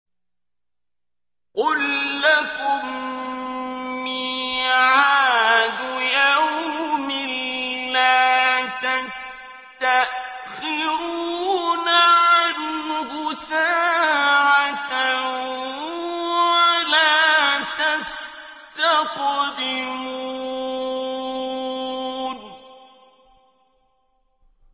قُل لَّكُم مِّيعَادُ يَوْمٍ لَّا تَسْتَأْخِرُونَ عَنْهُ سَاعَةً وَلَا تَسْتَقْدِمُونَ